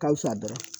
Ka fisa dɔrɔn